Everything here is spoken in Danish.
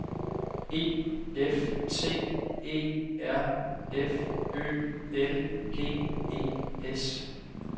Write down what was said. E F T E R F Ø L G E S